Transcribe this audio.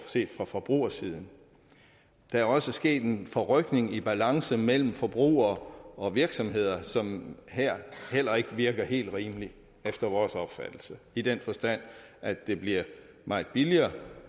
set fra forbrugersiden der er også sket en forrykning i balancen mellem forbrugere og virksomheder som her heller ikke virker helt rimelig efter vores opfattelse i den forstand at det bliver meget billigere